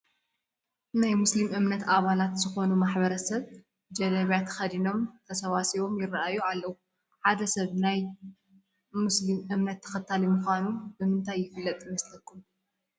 ናይ ሞስሊም እምነት ኣባላት ዝኾኑ ማሕበረሰብ ጀለቢያ ተኸዲኖም ተሰባሲቦም ይርአዩ ኣለዉ፡፡ ሓደ ሰብ ናይ ምስልምና እነት ተኸታሊ ምዃኑ ብምንታይ ይፍለጥ ይመስለኹም?